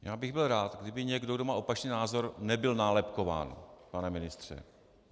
Já bych byl rád, kdyby někdo, kdo má opačný názor, nebyl nálepkován, pane ministře.